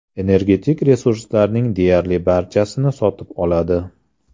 Energetik resurslarning deyarli barchasini sotib oladi.